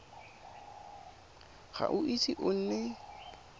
ga o ise o nne